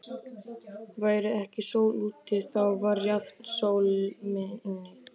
Væri ekki sól úti, þá var jafnan sól inni.